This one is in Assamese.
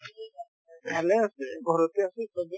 ভালে আছে ঘৰতে আছে চবে